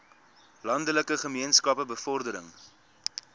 landelike gemeenskappe bevordering